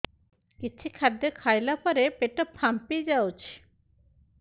କିଛି ଖାଦ୍ୟ ଖାଇଲା ପରେ ପେଟ ଫାମ୍ପି ଯାଉଛି